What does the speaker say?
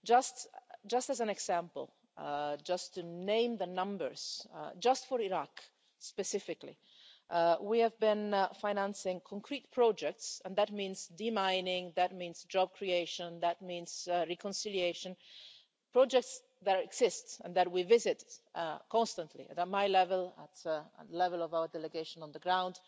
Just as an example, to name the numbers, just for Iraq specifically, we have been financing concrete projects and that means demining, that means job creation, that means reconciliation projects that exist and that we visit constantly, at my level, at the level of our delegation on the ground.